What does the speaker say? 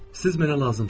Siz mənə lazımsız.